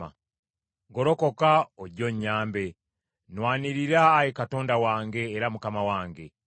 Golokoka ojje onnyambe; nnwanirira Ayi Katonda wange era Mukama wange.